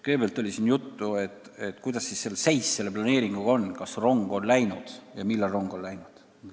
Kõigepealt, siin oli juttu, milline seis selle planeeringuga on: kas rong on läinud ja kui ei ole, siis millal see on läinud?